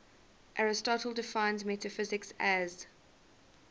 aristotle defines metaphysics as